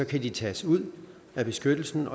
kan det tages ud at beskyttelsen